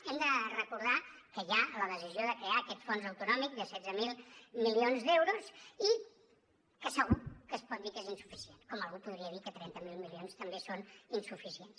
hem de recordar que hi ha la decisió de crear aquest fons autonòmic de setze mil milions d’euros i que segur que es pot dir que és insuficient com algú podria dir que trenta miler milions també són insuficients